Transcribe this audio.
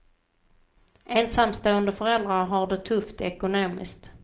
Ensamstående föräldrar har det tufft ekonomiskt.